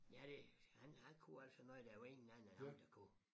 Ja det han han kunne altså noget der var ingen anden end ham der kunne